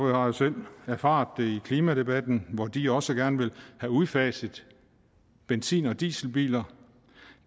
jo selv erfaret det i klimadebatten hvor de også gerne vil have udfaset benzin og dieselbiler